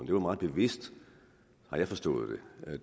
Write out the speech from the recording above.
det var meget bevidst har jeg forstået det